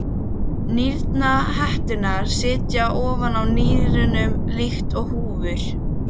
Nýrnahetturnar sitja ofan á nýrunum líkt og húfur.